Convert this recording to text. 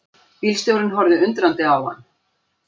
Bílstjórinn horfði undrandi á hann.